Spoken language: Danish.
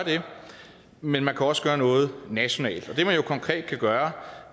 men man kan også gøre noget nationalt det man konkret kan gøre